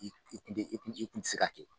N de n de se ka kɛ